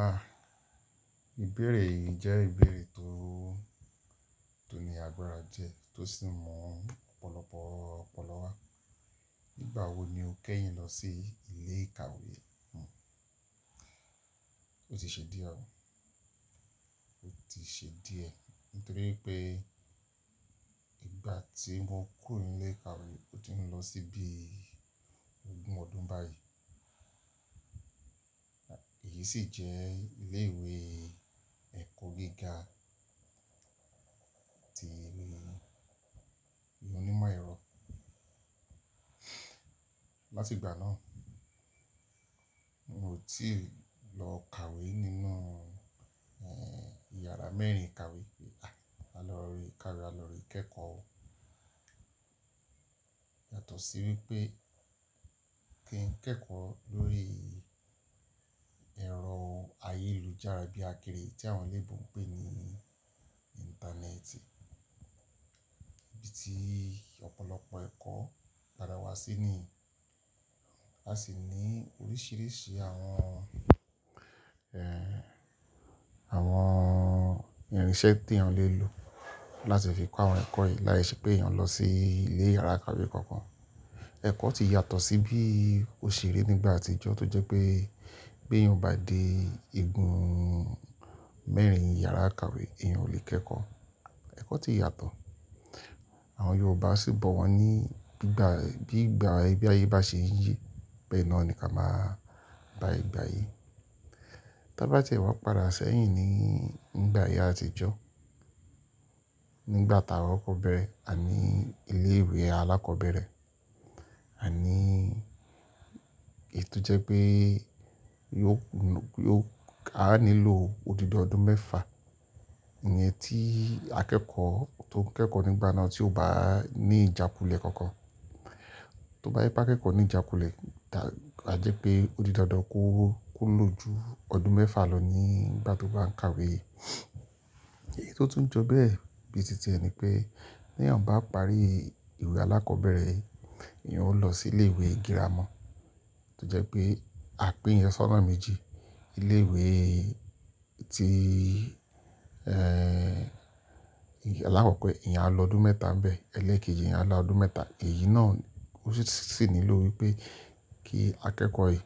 Aah, ìbéèrè yìí jẹ́ ìbéèrè tó, tó ní agbára diẹ, tó sì mu ọ̀pọ̀lọpọ̀ ọ̀pọ̀lọpọ̀ wá. Nígbà wo ni o kẹ́yìn lọ sí ilé ìkàwé? O ti ṣe díẹ̀ oo, o ti ṣe díẹ̀ nítorí pé ìgbà tí mo kúrò ní ilé ìkàwé, o ti ń lọ síbí ogún ọdún báyìí. Èyí sì jẹ́ ilé ìwé ẹ̀kọ́ gíga ti eré onímọ̀ ẹ̀rọ. Látìgbà náà, mo ti lọ kàwé nínú, eeh, ìyàrá mẹ́rin ìkàwé pé a lọ re kàwé, a lọ re kẹ́kọ̀ọ́. Yàtọ̀ sí wípé kí ń kẹ́kọ̀ọ́ lórí ẹ̀rọ ayélujára bíi akéèrè tí àwọn eleebo ǹ pè ní Íńtánẹ́ẹ̀tì. Ibi tí ọ̀pọ̀lọpọ̀ ẹ̀kọ́ dára wá sí ni. A sì ní oríṣìíríṣìí àwọn, eeh, àwọn irinṣẹ́ tí eèyan le lò láti fi kó àwọn ẹ̀kọ́ yìí láé ṣe pé èèyàn lọ sí ilé ìyàrá ìkàwé kan kan. Ẹ̀kọ́ ti yàtọ̀ sí bí ó ṣe rí nígbà àtijọ́ tó jẹ́ pé bí èèyàn o bá de igun mẹ́rin ìyàrá ìkàwé èèyàn ò lè kẹ́kọ̀ọ́. Ẹ̀kọ́ ti yàtọ̀. Àwọn Yorùbá sì bọ̀ wọ́n ní bí ìgbà, bí ìgbà bí ayé bá ṣe ń yi, bẹ́ẹ̀ náà ni ká máa bá igba yìí. Tá bá tiẹ́ wa padà sẹ́yìn ní, nígbà ayé àtijọ́, nígbà tá kọkọ̀ bẹ̀rẹ̀ àní ilé ìwé alákọ̀ọ́bẹ̀rẹ̀, àní èyi tò jẹ́ pé yóò, yóò, a nílò odidi ọdún mẹ́fa. Ìyẹn tí akẹ́kọ̀ọ́ tó ń kẹ́kọ̀ọ́ nígbà náà tí ò bá ní ìjákulẹ̀ kankan. Tó bá je pé akẹ́kọ̀ọ́ ní ìjákulẹ̀, ta, a jẹ́ pé odi dandan kó lò ju ọdún mẹ́fa lọ nígbà tó bá ń kàwé. Èyí tó tún jọ bẹ́ẹ̀ bíi títí ẹ ni pé tí eeyan bá parí ìwé alákọ̀ọ́bẹ̀rẹ̀, eeyan ó lọ sí ilé ìwé gírámà. To jẹ́ pé à pin eèyan sọ́nà méjì. Ilé ìwé tí, eeh, alákọ̀ko, eeyan á lọ ọdún mẹ́ta ń bẹ, ẹlẹ́ẹ̀kejì eeyan á lọ ọdún mẹ́ta. Èyí náà ó sì nílò wípé kí akẹ́kọ̀ọ́ èyí